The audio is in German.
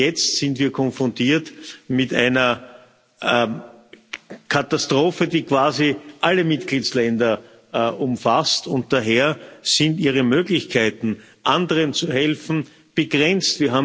Jetzt sind wir konfrontiert mit einer Katastrophe, die quasi alle Mitgliedstaaten umfasst, und daher sind ihre Möglichkeiten, anderen zu helfen, begrenzt.